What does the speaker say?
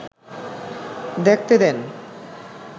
দেখতে দেন